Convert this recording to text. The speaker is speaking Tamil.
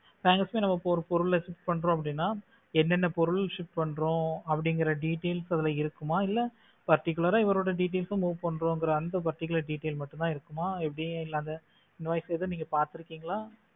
packers ஒரு பொருளை shift பண்றோம் அப்படினா என்னென்ன பொருள் shift பண்றோம் அப்படிங்கற details அதுல இருக்குமா இல்ல particular இவரோட details move பண்றோம்ங்கர அந்த particular details மட்டும்தான் இருக்குமா எப்படி அந்த invoice எதுவும் நீங்க பார்த்து இருக்கீங்களா?